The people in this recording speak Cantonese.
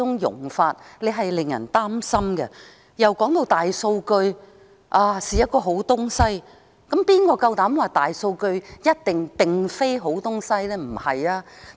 議員亦指出大數據是好東西，當然，誰又敢說大數據一定不是好東西？